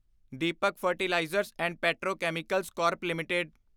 Deepak fertilizers and petrochemicals corp LTD